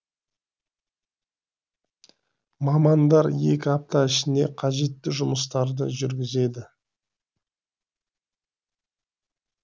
мамандар екі апта ішінде қажетті жұмыстарды жүргізеді